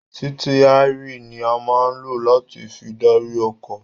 Sítíẹ́rì ní a máa ń lò láti fi darí ọkọ̀.